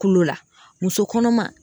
Kulo la muso kɔnɔma